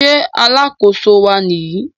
Ṣé alákóso wa Nìyí?